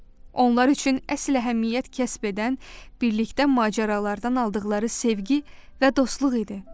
Onlar üçün əsl əhəmiyyət kəsb edən birlikdə macəralardan aldıqları sevgi və dostluq idi.